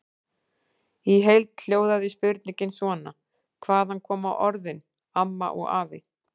Í heild hljóðaði spurningin svona: Hvaðan koma orðin AMMA og AFI?